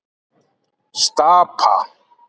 Stapa